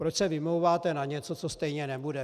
Proč se vymlouváte na něco, co stejně nebude?